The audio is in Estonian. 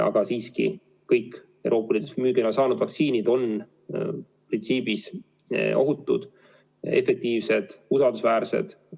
Aga kõik Euroopa Liidus müügiloa saanud vaktsiinid on printsiibis ohutud, efektiivsed, usaldusväärsed.